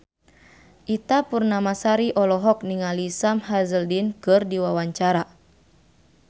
Ita Purnamasari olohok ningali Sam Hazeldine keur diwawancara